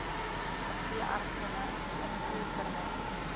n veeartseny invoerpermit